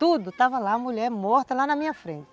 Tudo, estava lá a mulher morta lá na minha frente.